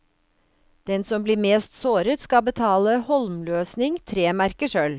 Den som blir mest såret, skal betale holmløsning, tre merker sølv.